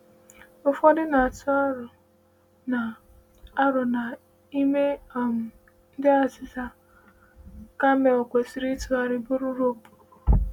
Ụfọdụ na - atụ aro na aro na n’ime um ndị aịzaịzị a, “camel” kwesịrị ịtụgharị bụrụ “rope.”